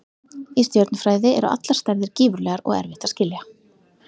Í stjörnufræði eru allar stærðir gífurlegar og erfitt að skilja.